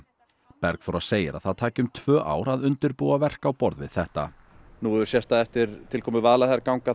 Bergþóra segir að það taki um tvö ár að undirbúa verk á borð við þetta nú hefur sést að eftir tilkomu Vaðlaheiðarganga